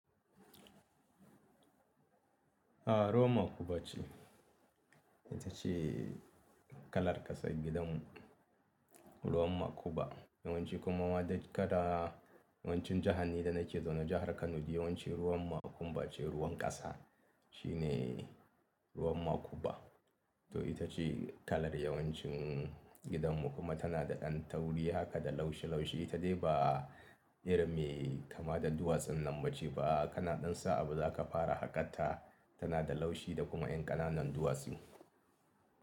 A ruwan makuba ce. Ita ce kalar ƙasar gidan mu ruwan makuba. Yawance kuma waɗanda kada yawancin jihanni da na ke zaune jahar kano ji yawance ruwan makuba ce ruwan kasa shine ruwan makuba. To itace kalar yawanci colour din gidan mu kuma tana da da tauri haka da laushi ita dai ba irin me kama da duwatsun nan ba ce ba. Kana ɗan sa'a ba zaka fara haƙar ta tana da laushi da kuma ƴan ƙananan duwatsu.